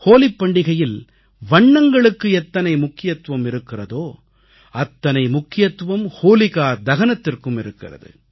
ஹோலிப் பண்டிகையில் வண்ணங்களுக்கு எத்தனை முக்கியத்துவம் இருக்கிறதோ அத்தனை முக்கியத்துவம் ஹோலிகா தகனத்திற்கும் இருக்கிறது